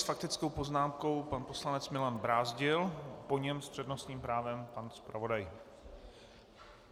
S faktickou poznámkou pan poslanec Milan Brázdil, po něm s přednostním právem pan zpravodaj.